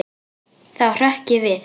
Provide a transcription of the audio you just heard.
Þá hrökk ég við.